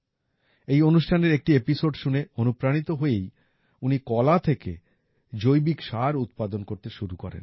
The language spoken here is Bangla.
এই অনুষ্ঠানের একটি এপিসোড শুনে অনুপ্রাণিত হয়েই উনি কলা থেকে জৈবিক সার উৎপাদন করতে শুরু করেন